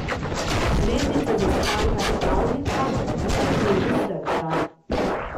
Zvezdica Zaspanka je pravljica, ki razneži srca.